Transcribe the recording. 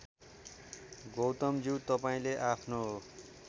गौतमज्यू तपाईँले आफ्नो